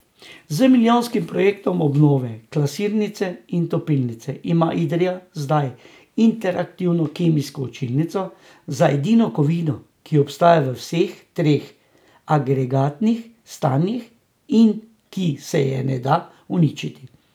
Z milijonskim projektom obnove klasirnice in topilnice ima Idrija zdaj interaktivno kemijsko učilnico za edino kovino, ki obstaja v vseh treh agregatnih stanjih in ki se je ne da uničiti.